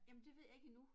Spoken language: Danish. Jamen det ved jeg ikke endnu